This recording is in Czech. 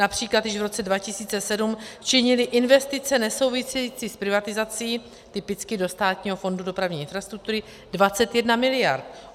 Například již v roce 2007 činily investice nesouvisející s privatizací, typicky do Státního fondu dopravní infrastruktury, 21 miliard.